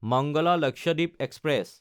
Mangala Lakshadweep express